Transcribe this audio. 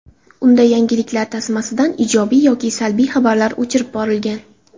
Unda yangiliklar tasmasidan ijobiy yoki salbiy xabarlar o‘chirib borilgan.